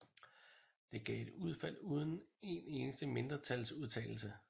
Det gav et udfald uden en eneste mindretalsudtalelse